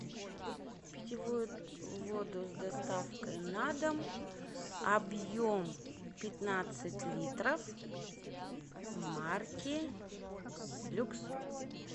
питьевую воду с доставкой на дом объем пятнадцать литров марки люкс